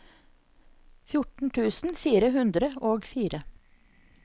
fjorten tusen fire hundre og fire